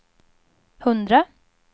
hundra